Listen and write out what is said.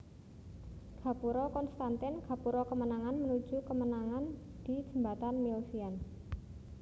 Gapura Konstantin gapura kemenangan menuju kemenangan di Jembatan Milvian